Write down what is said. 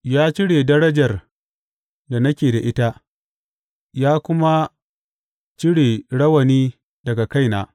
Ya cire darajar da nake da ita, ya kuma cire rawani daga kaina.